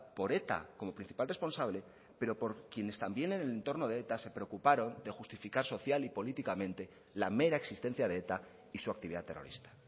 por eta como principal responsable pero por quienes también en el entorno de eta se preocuparon de justificar social y políticamente la mera existencia de eta y su actividad terrorista